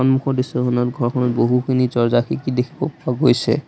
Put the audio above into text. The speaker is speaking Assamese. সন্মুখৰ দৃশ্যখনত ঘৰখনত বহুখিনি দৰ্জ্জা খিৰিকী দেখিব পোৱা গৈছে।